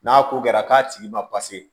N'a ko kɛra k'a tigi ma